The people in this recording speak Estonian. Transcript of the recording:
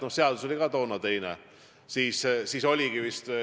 Noh, ka seadus oli toona teine.